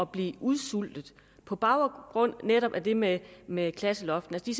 blive udsultet på baggrund af netop det med med klasseloftet de